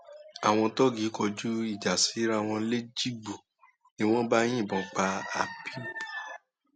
àwọn tóògì kọjú ìjà síra wọn lẹjìgbò ni wọn bá yìnbọn pa abẹb